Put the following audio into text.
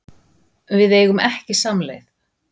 Við eigum ekki samleið